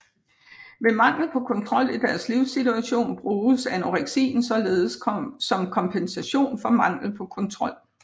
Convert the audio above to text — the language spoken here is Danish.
Ved mangel på kontrol i deres livssituation bruges anoreksien således som kompensation for mangel på kontrol